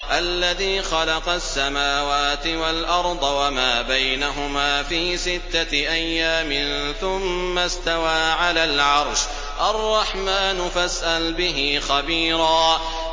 الَّذِي خَلَقَ السَّمَاوَاتِ وَالْأَرْضَ وَمَا بَيْنَهُمَا فِي سِتَّةِ أَيَّامٍ ثُمَّ اسْتَوَىٰ عَلَى الْعَرْشِ ۚ الرَّحْمَٰنُ فَاسْأَلْ بِهِ خَبِيرًا